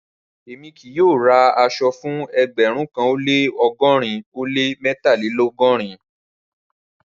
Rárá, èmi kì yóò rá àṣọ̀ fún ẹgbérùn kan ó lẹ́ ọgọ́rìn ó lẹ́ mẹ́tàlélọ́gọ́rìn.